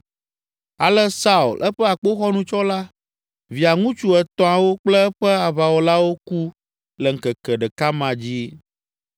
Ale Saul, eƒe akpoxɔnutsɔla, Via ŋutsu etɔ̃awo kple eƒe aʋawɔlawo ku le ŋkeke ɖeka ma dzi.